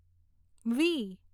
વી